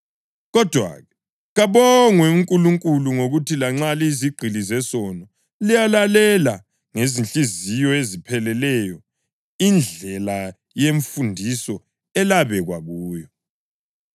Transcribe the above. Kodwa-ke, kabongwe uNkulunkulu ngokuthi lanxa laliyizigqili zesono, layilalela ngezinhliziyo ezipheleleyo indlela yemfundiso elabekwa kuyo.